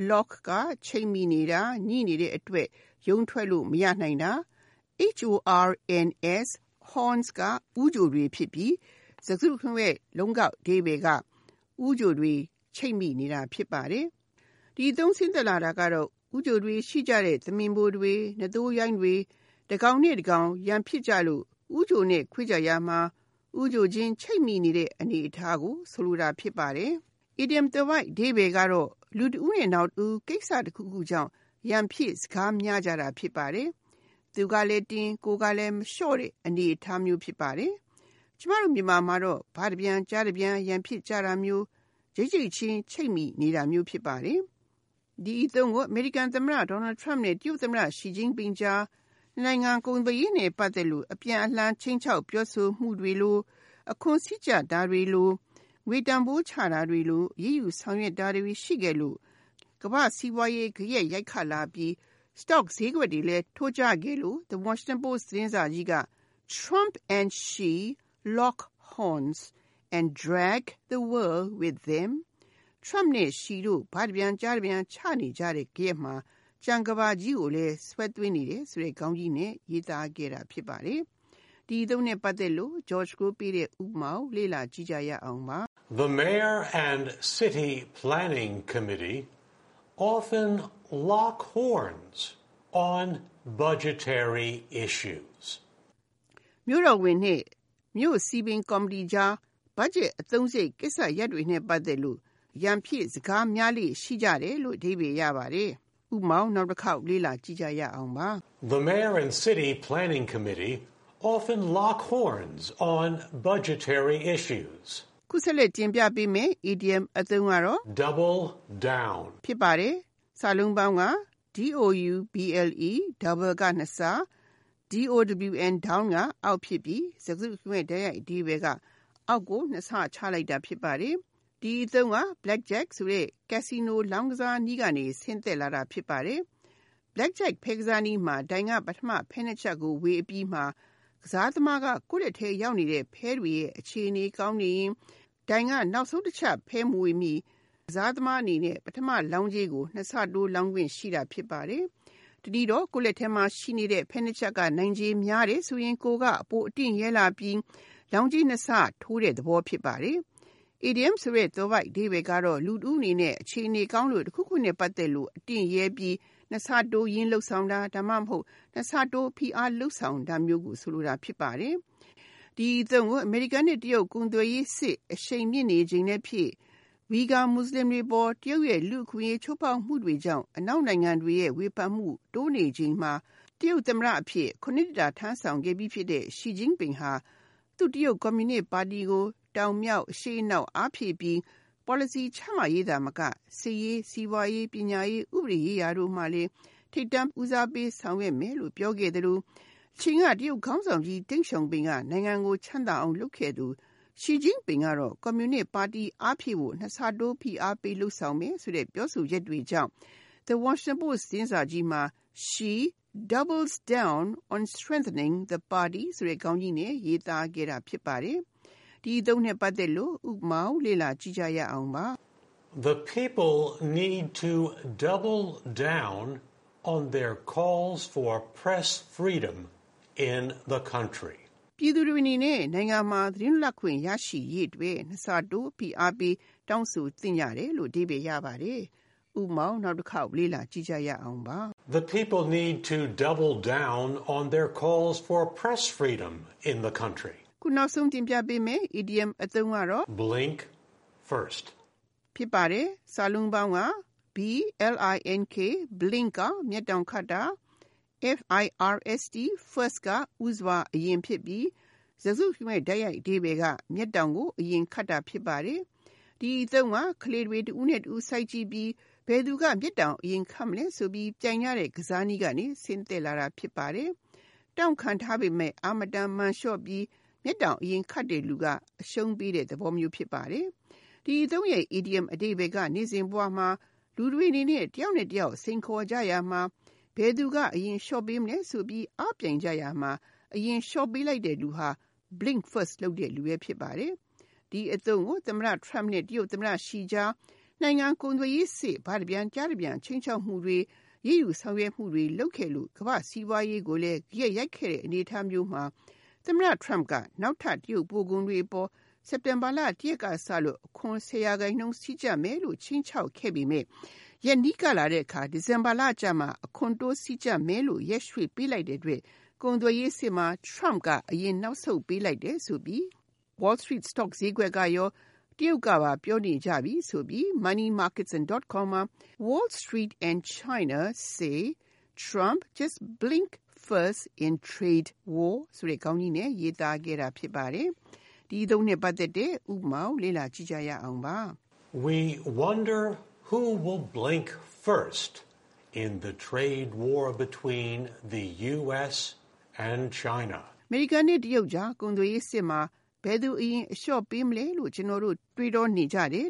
Lock (ချိတ်မိနေတာ၊ ငြိနေတဲ့အတွက် ရုန်းထွက်လို့ မရနိုင်တာ)၊ horns (ဦးချိုတွေ) ဖြစ်ပြီး စကားစုတခုလုံးရဲ့တိုက်ရိုက် အဓိပ္ပါယ်က ဦးချိုတွေချိတ်မိနေတာဖြစ်ပါတယ်။ ဒီအသုံးဆင်းသက်လာတာက ဦးချိုတွေရှိကြတဲ့ သမင်ဖိုတွေ၊ နွားသိုးရိုင်းတွေ တကောင်နဲ့တကောင် ရန်ဖြစ်ကြလို့ ဦးချိုနဲ့ခွေ့ကြရာမှာ ဦးချိုချင်း ချိတ်မိနေတဲ့အနေအထားကို ဆိုလိုတာဖြစ်ပါတယ်။ အီဒီယံသွယ်ဝိုက်အဓိပ္ပါယ်ကတော့ လူတဦးနဲ့နောက်တဦး ကိစ္စတခုခုကြောင့် ရန်ဖြစ်စကားများကြတာ ဖြစ်ပါတယ်။ သူကလဲတင်း၊ ကိုယ်ကလဲမလျှော့တဲ့အနေအထားမျိုး ဖြစ်ပါတယ်။ ကျမတို့မြန်မာမှာတော့ ဘတပြန ်ကျားတပြန် ရန်ဖြစ်နေကြတာမျိုး၊ ချိတ်ချိတ်ချင်း ချိတ်မိနေတာမျိုး ဖြစ်ပါတယ်။ ဒီအသုံးကို အမေရိကန်သမ္မတ Donald Trump နဲ့ တရုတ်သမ္မတ Xi Jinping ကြား နှစ်နိုင်ငံ ကုန်သွယ်ရေးနဲ့ပတ်သက်လို့ အပြန်အလှန် ခြိမ်းခြောက်ပြောဆိုတာတွေ၊ အခွန်စည်းကြပ်တာတွေ၊ ငွေတန်ဘိုးချတာတွေ စသဖြင့်အရေးယူဆောင်ရွက်တာတွေ ရှှိခဲ့လို့၊ ကမ္ဘာ့စီးပွါးရေးကို ဂယက်ရိုက်ခတ် လာပြီး Stocks ဈေးတွေလည်း ထိုးကျခဲ့လို့ The Washinton Post သတင်းစာကြီးက “Trump and Xi lock horns — and drag the world with them”. Trump နဲ့ Xi တို့ ဘတပြန် ကျားတပြန် ချနေကြတဲ့ ဂယက်မှာ ကျန် ကမ္ဘာကြီးကိုလnf; ဆွဲသွင်းနေတယ် ဆိုတဲ့ ခေါင်းကြီးနဲ့ ရေးသားခဲ့တာဖြစ်ပါတယ်။ ဥပမာ The mayor and city planning committee often “lock horns” on budgetary issues. မြို့တော်ဝန်နဲ့ မြို့ရဲ့စည်ပင်ကော်မတီကြား ဘတ်ဂျက်အသုံးစရိတ်ကိစ္စရပ်တွေနဲ့ ပတ်သက်လို့ ရန်ဖြစ် စကားများကြလေ့ ရှိတယ်။ (၂) Double Down Double က (နှစ်ဆ)၊ down က (အောက်) ဖြစ်ပြီး စကားစုတခုလုံးရဲ့ တိုက်ရိုက်အဓိပ္ပါယ် က အောက်ကို နှစ်ဆ ချလိုက်တာဖြစ်ပါတယ်။ ဒီအသုံးက Blackjack ဆိုတဲ့ casino လောင်းကစားနည်းကနေ ဆင်းသက် လာတာ ဖြစ်ပါတယ်။ Blackjack ဖဲကစားနည်းမှာ ဒိုင်က ပထမ ဖဲနှစ်ချပ်ကိုဝေအပြီးမှာ ကစားသမားက ကိုယ့်လက်ထဲရောက်နေတဲ့ ဖဲတွေရဲ့အခြေအနေ ကောင်းနေရင် ဒိုင်က နောက်ဆုံးတချပ်မဝေမီ ကစားသမားအနေနဲ့ ပထမလောင်းကြေးကို နှစ်ဆတိုး လောင်းခွင့်ရှိတာ ဖြစ်ပါတယ်။ တနည်းတော့ ကိုယ့်လက်ထဲမှာရှိနေတဲ့ ဖဲနှစ်ချပ်က နိုင်ခြေများတယ်ဆိုရင် ကိုယ်က ပိုအတင့်ရဲလာပြီး လောင်းကြေး နှစ်ဆတိုးတဲ့သဘောဖြစ်ပါတယ်။ အီဒီယံဆိုတဲ့ သွယ်ဝိုက်အဓိပ္ပါယ်ကတော့ လူတဦးအနေနဲ့ အခြေအနေ ကောင်းလို့ တခုခုနဲ့ပတ်သက်လို့ အတင့်ရဲပြီး နှစ်ဆတိုးရင်း လုပ်ဆောင်တာ၊ ဒါမှမဟုတ် နှစ်ဆတိုး ဖိအားပေး လုပ်ဆောင်တာမျိုးကို ဆိုလိုတာဖြစ်ပါတယ်။ ဒီအသုံးကို အမေရိကန်နဲ့ တရုတ်ကုန်သွယ်ရေးစစ်အရှိန်မြင့်နေချိန်လဲဖြစ်၊ Uighur မွတ်စလင်တွေအပေါ် တရုတ်ရဲ့ လူ့အခွင့်အရေးချိုးဖေါက်မှုတွေကြောင့် အနောက်နိုင်ငံတွေရဲ့ ဝေဖနိမှုတွေလည်း တိုးနေချိန်မှာ တရုတ်သမ္မတအဖြစ် (ရ ) နှစ်တာထမ်းဆောင်ခဲ့ပြီးဖြစ်တဲ့ Xi Jinping ဟာ သူ့ရဲ့တရုတ်ကွန်မြူနစ်ပါတီကို အရှေ့၊ အနောက်၊ တောင်၊ မြောက် အားဖြည့်ပြီး ပေါ်လစီချမှတ်ရေးသာမက စစ်ရေး၊ စီးပွါးရေး၊ ပညာရေး၊ ဥပဒေရေးရာ တို့ကိုလည်း ထိပ်တန်းဦးစားပေးဆောင်ရွက်မယ်လို့ပြောခဲ့သလို တချိန်က တရုတ်ခေါင်းဆောင် ကြီး Deng Xiaoping က နိုင်ငံကို ချမ်းသာအောင်လုပ်ခဲ့တဲ့ နည်းတူ Xi Jinping ကလည်း ကွန်မြူနစ်ပါတီ အားဖြည့်ဖို့နှစ်ဆတိုး ဖိအားပေး လုပ်ဆောင်မယ် ဆိုတဲ့ပြောဆိုချက်တွေကြောင့် The Washington Post သတင်းစာကြီး မှာ “Xi Doubles down on strengthening the Party “ ဆိုတဲ့ခေါင်းကြီးနဲ့ ရေးသားခဲ့တာ ဖြစ်ပါတယ်။ ဥပမာ The people need to “double down” on their calls for press freedom in the country. ပြည်သူတွေအနေနဲ့ နိုင်ငံမှာသတင်းလွပ်လပ်ခွင့်ရရှိရေးအတွက် နှစ်ဆတိုး ဖိအားပေး တောင်းဆိုသင့်ကြ တယ်။ (၃)Blink First Blink (မျက်တောင်ခတ်တာ)၊ first (ဦးစွာအရင်) ဖြစ်ပြီး စကားစုတခုလုံးရဲ့တိုက်ရိုက်အဓိပ္ပါယ်က မျက်တောင်ကို အရင်ခတ်တာ ဖြစ်ပါတယ်။ ဒီအသုံးက ကလေးတွေ တဦးနဲ့တဦးစိုက်ကြည့်ပြီး ဘယ်သူက မျက်တောင်အရင်ခတ်မလဲဆိုပြီး ပြိုင်ကြတဲ့ကစားနည်းကနေ ဆင်းသက်လာတာ ဖြစ်ပါတယ်။ တောင့်ခံထားပေမယ့် အားမတန်မာန်လျှော့ပြီး မျက်တောင်အရင်ခတ်တဲ့လူက အရှုံးပေးတဲ့ သဘောမျိုး ဖြစ်ပါတယ်။ ဒီအသုံးရဲ့ အီဒီယံအဓိပ္ပါယ်က နေ့စဉ်ဘဝမှာ လူတွေအနေနဲ့ တယောက်နဲ့တယောက် စိန်ခေါ်ကြရာမှာ ဘယ်သူက အရင်လျှော့ပေးမလဲဆိုပြီး အားပြိုင်ကြရမှာ အရင်အလျှော့ပေးလိုက်တဲ့လူဟာ Blink first လုပ်တဲ့လူပဲ ဖြစ်ပါတယ်။ ဒီအသုံးကို သမတ Trump နဲ့ တရုတ်သမ္မတ Xi ကြား နှစ်နိုင်ငံ ကုန်သွယ်ရေးစစ်မှာ ဘတပြန်၊ ကျားတပြန် ခြိမ်းခြောက်မှုတွေ၊ အရေးယူဆောင်ရွက်မှုတွေလုပ်ခဲ့လို့ ကမ္ဘာ့ စီးပွါးရေးကိုလည်း ဂယက်ရိုက်ခဲ့တဲ့အနေအထားမျိုးမှာ သမ္မတ Trump က နောက်ထပ် တရုတ် ပို့ကုန်တွေအပေါ် စက်တင်ဘာ ၁ ရက်ကစလို့ အခွန် ၁၀ % တိုးစည်းကြပ်မယ်လို့ခြိမ်းခြောက်ခဲ့ပေမဲ့ ရက်နီးကပ်လာတဲ့အခါ ဒီဇင်ဘာလကျမှပဲ အခွန်တိုးစည်းကြပ်မယ်လို့ ရက်ရွှေ့ပေးလိုက်တဲ့အတွက် ကုန်သွယ်ရေးစစ်မှာ Trump က အရင် စပြီးအလျှော့ပေး လိုက်တယ်လို့ Wall St. Stock ဈေးကွက်ကရော တရုတ်ကပါ ပြောနေကြပြီ ဆိုပြီး Money and Markets.com မှာ “Wall Street and China Say Trump Just Blinked First in Trade War “ ဆိုတဲ့ခေါင်းကြီးနဲ့ ရေးသားခဲ့တာ ဖြစ်ပါတယ်။ ဥပမာ We wonder who will “blink first” in the trade war between the U.S. and China. အမေရိကန်နဲ့တရုတ်ကြား ကုန်သွယ်ရေးစစ်မှာဘယ်သူအရင်အလျော့ပေးမလဲလို့ ကျနော်တို့ တွေးတောနေကြတယ်